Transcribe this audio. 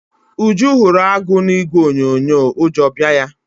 Uju hụrụ agụ na ìgwè onyonyo ụjọ bịa ya.